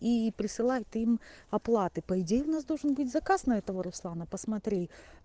и присылай ты им оплаты по идее у нас должен быть заказ на этого руслана посмотри